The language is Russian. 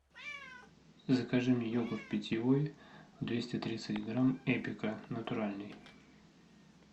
закажи мне йогурт питьевой двести тридцать грамм эпика натуральный